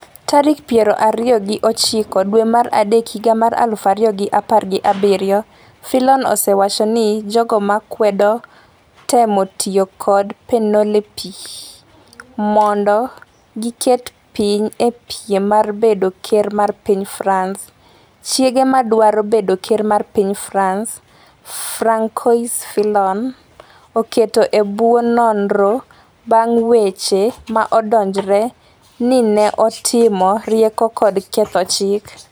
tarik piero ariyo gi ochiko dwe mar adek higa mar aluf ariyo gi apar gi abiriyo. Fillon osewacho ni jogo ma kwedo temo tiyo kod Penelope mondo giket piny e piem mar bedo ker mar piny France. Chiege ma dwaro bedo ker mar piny France, Francois Fillon, okete e bwo nonro bang' weche ma odonjre ni ne otimo rieko kod ketho chik.